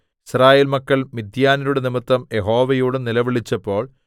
യിസ്രായേൽ മക്കൾ മിദ്യാന്യരുടെ നിമിത്തം യഹോവയോട് നിലവിളിച്ചപ്പോൾ